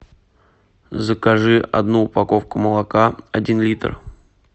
закажи одну упаковку молока один литр